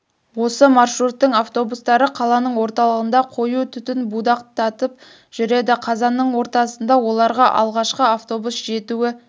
осы маршруттың автобустары қаланың орталығында қою түтін будақтатып жүреді қазанның ортасында оларға алғашқы автобус жетуі